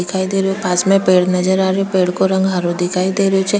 दिखाई दे रियो पास में पेड़ नजर आ रहियो पेड़ का रंग हरो दिखाई दे रही छे।